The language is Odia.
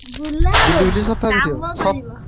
ବୁଲାହବନି କାମ ।